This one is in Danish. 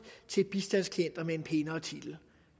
til bistandsklienter blot med en pænere titel